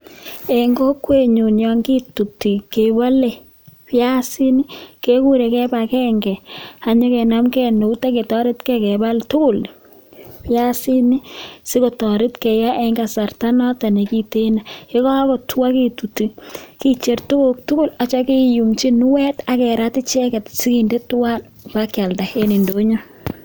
Eng kokwen nyuun yakituti piasiik ketutosgee kechangeeee sigopit kecher piasiik Eng kipagenge